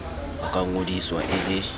a ka ngodiswa e le